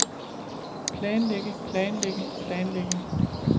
planlægge planlægge planlægge